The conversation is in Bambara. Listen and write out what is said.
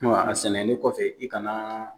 a sɛnɛlen kɔfɛ i ka na